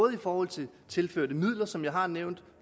i forhold til tilførte midler som jeg har nævnt